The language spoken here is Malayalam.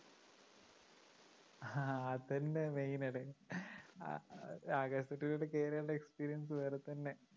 ആ അതന്നെ main അല്ലേ ആകാശ തൊട്ടിയിലോട്ട് കേറിയാലുള്ള experience വേറേ തന്നെ